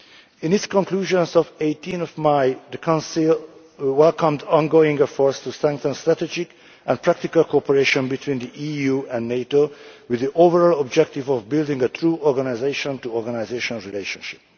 In its conclusions of 18 May, the Council welcomed ongoing efforts to strengthen strategic and practical cooperation between the EU and NATO, with the overall objective of building a true organisation to organisation relationship.